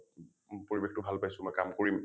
পৰিবেশটো ভাল পাইছোঁ মই কাম কৰিম ।